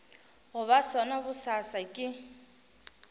go ba sona bosasa ke